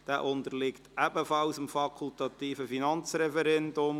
Auch dieser unterliegt dem fakultativen Finanzreferendum.